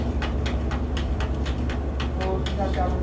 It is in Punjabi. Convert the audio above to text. ਹੋਰ ਕੀ ਹਾਲ ਚਾਲ ਏ